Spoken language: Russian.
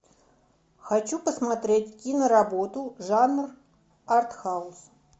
хочу посмотреть киноработу жанр арт хаус